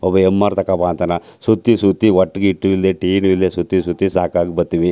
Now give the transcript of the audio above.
ಒಬ್ಬ ಎಮ್_ಆರ್ ತೋಕೋಬಾ ಅಂತನ್ ಸುತ್ತಿಸುತ್ತಿ ಹೊಟ್ಟ ಗೆ ಹಿಟ್ಟ್ ಇಲ್ಲದೆ ಟೀನು ಇಲ್ಲದೆ ಸುತ್ತಿಸುತ್ತಿ ಸಾಕಾಗಿ ಬತ್ತೀವಿ .